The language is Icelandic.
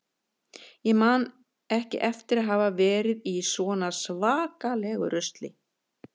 Ég man ekki eftir að hafa verið í svona svakalegu rusli.